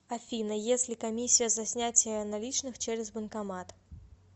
афина если комиссия за снятие наличных через банкомат